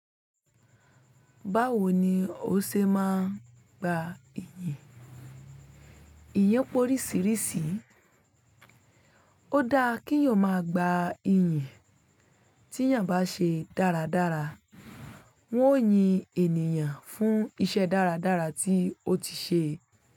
Báwo ni o ṣe máa ń gba ìyìn? Ìyìn pé oríṣiríṣi. Ó dáa kí eyan máa gba ìyìn tí èèyàn bá ṣe dáradára. Wọ́n ó yin ènìyàn fún iṣẹ́ dáradára tí ó ti ṣe.